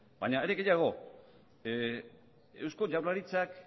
baina are gehiago eusko jaurlaritzak